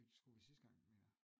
Det skulle vi sidste gang mener jeg